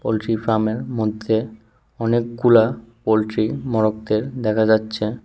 Poultry ফার্মের মধ্যে অনেকগুলা পোল্ট্রি মোরগদের দেখা যাচ্ছে।